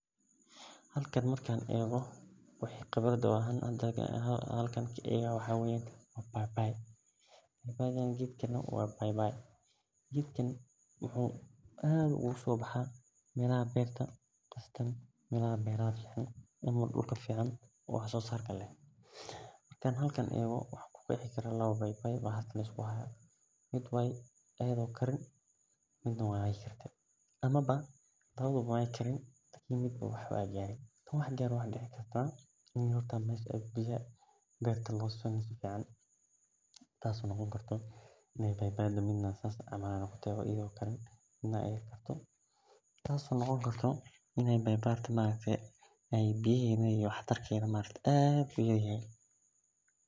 Halkan marki an ego maxaa waye geedkan waa bai bai mixu aad oga baxa meelaha beerta ama dulka fican hadan ego waxan arki haya lawa bai bai oo mid aa karin midnaha karte amawa lawadhawa wey Karen oo dacdo mid u wax gare tas oo noqoni karto in bai baiga biya helin tas oo wax tarka.